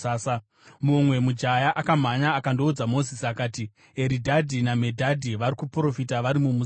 Mumwe mujaya akamhanya akandoudza Mozisi akati, “Eridhadhi naMedhadhi vari kuprofita vari mumusasa.”